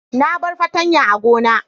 Na bar fartanya a gona.